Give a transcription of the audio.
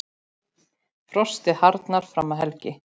Frostið harðnar fram að helgi.